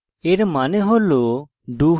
এর মানে হল